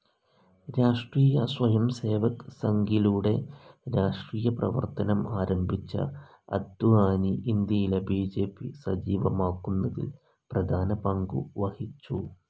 രാഷ്ട്രീയ സ്വയംസേവക് സംഖിലൂടെ രാഷ്ട്രീയ പ്രവർത്തനം ആരംഭിച്ച അദ്വാനി ഇന്ത്യയിലെ ബി.ജെ.പി സജീവമാക്കുന്നതിൽ പ്രധാന പങ്കു വഹിച്ചു.